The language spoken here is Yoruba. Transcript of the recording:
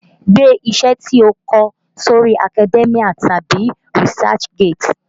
Gbé iṣẹ́ tí ó kọ sí orí Academia tàbí Research gate!